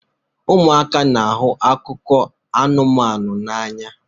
Ụmụaka n'ahụ akụkọ anụmanụ n'anya